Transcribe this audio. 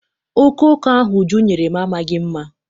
Okooko ahụ Uju nyere m amaghị mma.